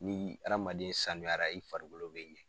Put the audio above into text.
Ni hadamaden sanuyara i farikolo bɛ ɲɛ.